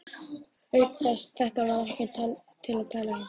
Auk þess, þetta var ekkert til að tala um.